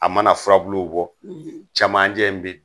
A mana furabulu bɔ, camancɛ in bi